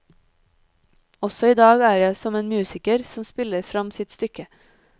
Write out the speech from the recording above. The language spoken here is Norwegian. Også i dag er jeg som en musiker som spiller fram sitt stykke.